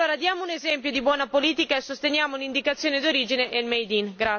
Diamo dunque un esempio di buona politica e sosteniamo l'indicazione d'origine e il made in